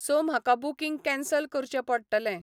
So म्हाका booking cancel करचें पडटलें.